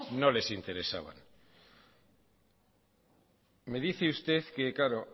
no les interesaban me dice usted que